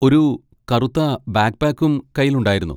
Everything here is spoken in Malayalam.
ഒരു കറുത്ത ബാക്ക്പാക്കും കയ്യിൽ ഉണ്ടായിരുന്നു.